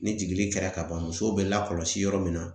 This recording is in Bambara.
Ni jigili kɛra ka ban musow be lakɔlɔsi yɔrɔ min na